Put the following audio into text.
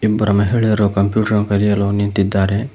ಇಬ್ಬರು ಮಹಿಳೆಯರು ಕಂಪ್ಯೂಟರ್ ಕಲಿಯಲು ನಿಂತಿದ್ದಾರೆ.